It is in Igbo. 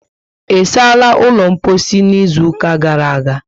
Ịsala ụlọ mposi n'izuka gara aga?